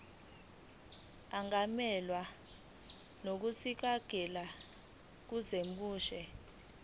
angamelwa ngonesikhundla kwinyunyane